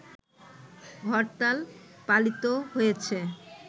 হরতাল পালিত হয়েছে